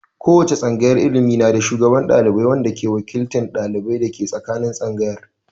Ko wace tsangayar ilimi na da shugaban ɗalibai wanda ke wakiltan dalibai dake tsakanin tsangayar.